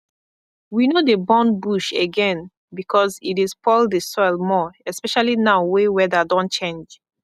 we no dey burn bush again because e dey spoil the soil more especially now wey weather don change